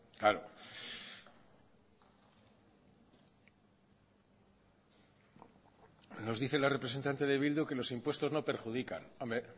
claro nos dice la representante de bildu que los impuestos no perjudican hombre